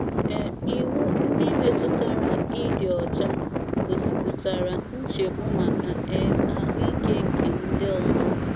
um Iwu ndị metụtara ịdị ọcha gosipụtara nchegbu maka um ahụ ike nke ndị ọzọ.